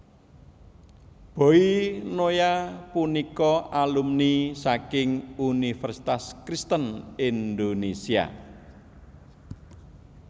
Boy Noya punika alumni saking Universitas Kristen Indonesia